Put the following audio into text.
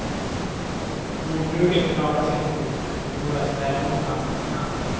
Jordbruket klarar sig nog, det går att ställa om ganska snabbt.